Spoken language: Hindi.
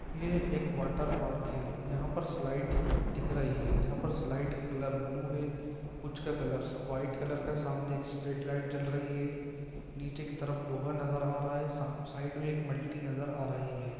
ये एक वाटर पार्क है । यहाँ पर स्लाइड दिख रही है। जहाँ पर स्लाइड का कलर ब्लू है कुछ का कलर व्हाइट कालर का सामने स्ट्रेट लाईट चल रहा है। नीचे की तरफ लोहा नज़र आ रहा है। सा साइड में इक मल्टी नज़र आ रही है।